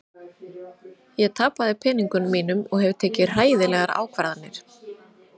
Ég tapaði peningunum mínum og hef tekið hræðilegar ákvarðanir.